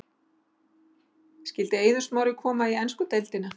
Skyldi Eiður Smári koma í ensku deildina?